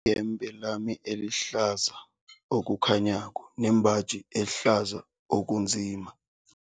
Ngimbatha iyembe lami elihlaza okukhanyako nembaji ehlaza okunzima.